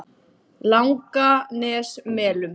Langanesmelum